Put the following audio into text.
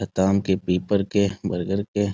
के पेपर के बर्गर के--